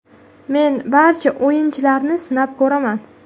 Men barcha o‘yinchilarni sinab ko‘raman.